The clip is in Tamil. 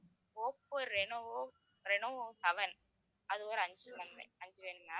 ஓப்போ ரெனோ ரெனோ seven அது ஒரு அஞ்சு அஞ்சு வேணும் ma'am